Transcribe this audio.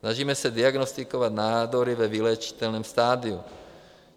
Snažíme se diagnostikovat nádory ve vyléčitelném stadiu.